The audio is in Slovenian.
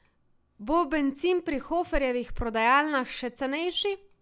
Bo bencin pri Hoferjevih prodajalnah še cenejši?